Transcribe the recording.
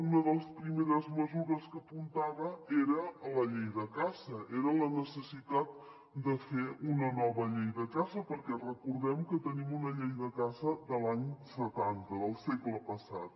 una de les primeres mesures que apuntava era la llei de caça era la necessitat de fer una nova llei de caça perquè recordem que tenim una llei de caça de l’any setanta del segle passat